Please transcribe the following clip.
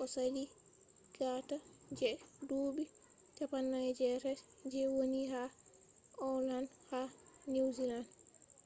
o sali gaɗa je duuɓi 48 je woni ha okland ha niwziland